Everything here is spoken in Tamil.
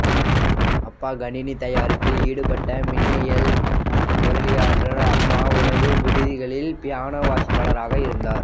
அப்பா கணினி தயாரிப்பில் ஈடுபட்ட மின்னியல் பொறியியலாளர்அம்மா உணவு விடுதிகளில் பியானோ வாசிப்பாளர் ஆக இருந்தார்